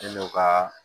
N'o ka